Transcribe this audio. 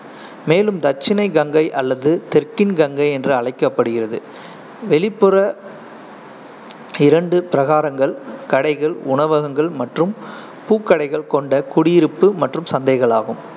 மேலும் தட்சிணை கங்கை அல்லது தெற்கின் கங்கை என்று அழைக்கப்படுகிறது. வெளிப்புற இரண்டு பிரகாரங்கள் கடைகள், உணவகங்கள் மற்றும் பூக்கடைகள் கொண்ட குடியிருப்பு மற்றும் சந்தைகளாகும்.